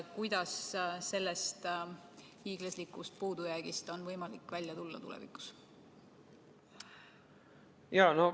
Kuidas on sellest hiiglaslikust puudujäägist tulevikus võimalik välja tulla?